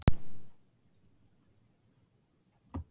Þeir minntust stuðnings